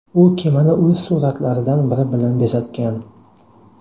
U kemani o‘z suratlaridan biri bilan bezatgan.